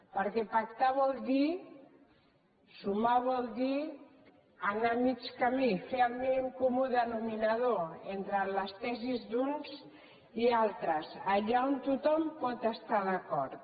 perquè pactar vol dir sumar vol dir anar a mig camí fer el mínim comú denomina·dor entre les tesis d’uns i altres allà on tothom pot es·tar d’acord